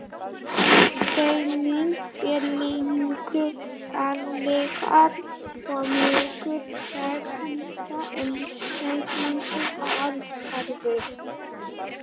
Steinninn er linur, álíka og mjúkur hverfisteinn en eitlarnir allharðir.